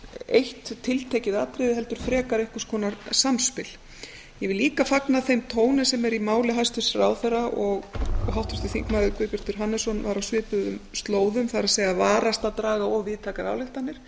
eitt tiltekið atriði heldur frekar einhvers konar samspil ég vil líka fagna þeim tóni sem er í máli hæstvirts ráðherra og háttvirtur þingmaður guðbjartur hannesson var á svipuðum slóðum þá varast að draga of víðtækar ályktanir